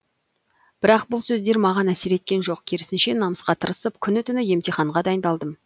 бірақ бұл сөздер маған әсер еткен жоқ керісінше намысқа тырысып күні түні емтиханға дайындалдым